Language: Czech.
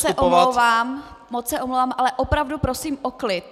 Ještě jednou se omlouvám, moc se omlouvám, ale opravdu prosím o klid!